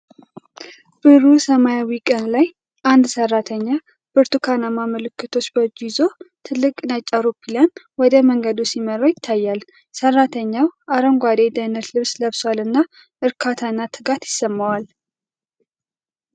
ብሩህ ሰማያዊ ቀን ላይ አንድ ሰራተኛ ብርቱካናማ ምልክቶች በእጁ ይዞ ትልቅ ነጭ አውሮፕላን ወደ መንገዱ ሲመራው ይታያል። ሰራተኛው አረንጓዴ የደህንነት ልብስ ለብሷልና እርካታ እና ትጋት ይሰማዋል።